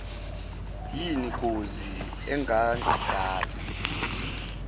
yin gozi engadala